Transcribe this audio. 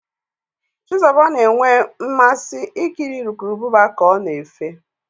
Chizuba na-enwe mmasị ikiri urukurubụba ka ọ na-efe.